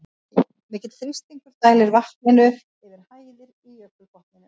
Mikill þrýstingur dælir vatninu yfir hæðir í jökulbotninum.